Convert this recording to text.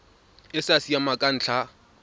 e sa siamang ka ntlha